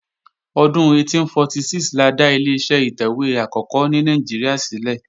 Ọdún 1846 la dá Ileṣẹ́ ìtẹ̀wé àkọ́kọ́ ní Nàìjíríà ṣílẹ̀